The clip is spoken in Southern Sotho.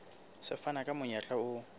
se fana ka monyetla o